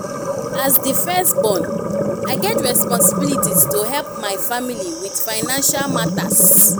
as the firstborn i get responsibility to help my family with financial matters.